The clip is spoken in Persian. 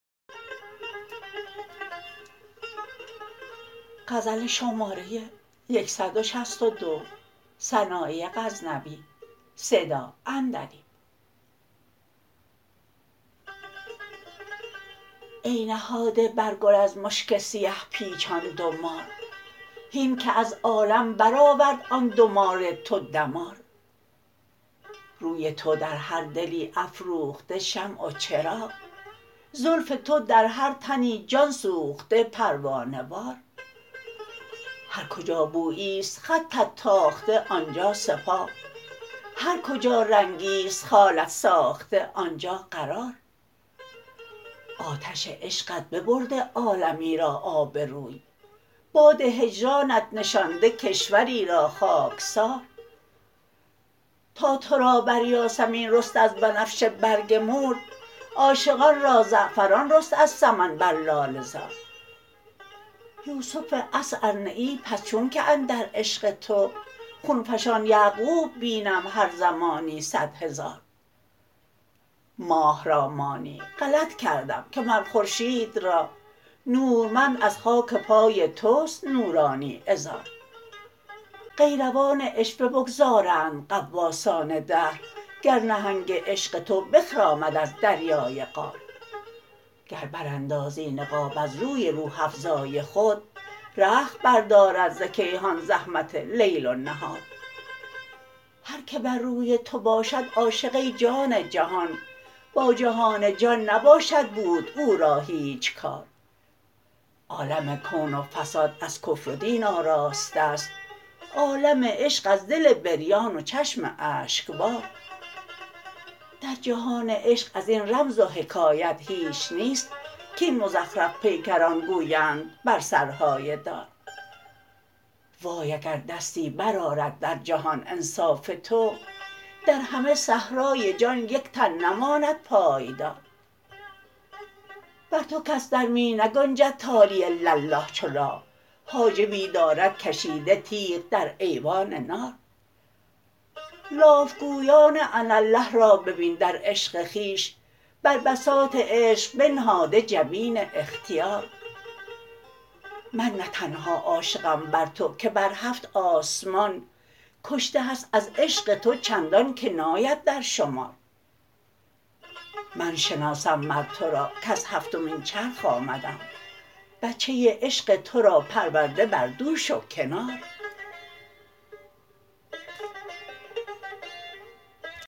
ای نهاده بر گل از مشک سیه پیچان دو مار هین که از عالم برآورد آن دو مار تو دمار روی تو در هر دلی افروخته شمع و چراغ زلف تو در هر تنی جان سوخته پروانه وار هر کجا بوییست خطت تاخته آنجا سپاه هر کجا رنگیست خالت ساخته آنجا قرار آتش عشقت ببرده عالمی را آبروی باد هجرانت نشانده کشوری را خاکسار تا ترا بر یاسمین رست از بنفشه برگ مورد عاشقان را زعفران رست از سمن بر لاله زار یوسف عصر ار نه ای پس چون که اندر عشق تو خونفشان یعقوب بینم هر زمانی صدهزار ماه را مانی غلط کردم که مر خورشید را نورمند از خاک پای تست نورانی عذار قیروان عشوه بگذارند غواصان دهر گر نهنگ عشق تو بخرامد از دریای قار گر براندازی نقاب از روی روح افزای خود رخت بردارد ز کیهان زحمت لیل و نهار هر که بر روی تو باشد عاشق ای جان جهان با جهان جان نباشد بود او را هیچ کار عالم کون و فساد از کفر و دین آراسته ست عالم عشق از دل بریان و چشم اشکبار در جهان عشق ازین رمز و حکایت هیچ نیست کاین مزخرف پیکران گویند بر سرهای دار وای اگر دستی برآرد در جهان انصاف تو در همه صحرای جان یک تن نماند پایدار بر تو کس در می نگنجد تالی الا الله چو لا حاجبی دارد کشیده تیغ در ایوان نار لاف گویان اناالله را ببین در عشق خویش بر بساط عشق بنهاده جبین اختیار من نه تنها عاشقم بر تو که بر هفت آسمان کشته هست از عشق تو چندان که ناید در شمار من شناسم مر ترا کز هفتمین چرخ آمدم بچه عشق ترا پرورده بر دوش و کنار